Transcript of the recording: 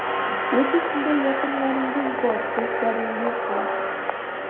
Yoki shunday yaqinlaringiz bor, do‘stlaringiz bor.